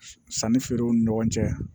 Sannifeerew ni ɲɔgɔn cɛ